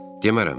Demərəm də.